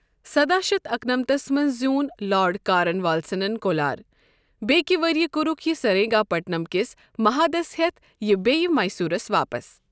سداہ شتھ اکنمتس منٛز زیوٗن لارڈ کارن والیسن کولار، بیٚیکہ ؤریہ کوٚرُکھ یہِ سریٖنٛگاپٹم کس محادس یتھ یہ بیٚیہ میسورس واپس۔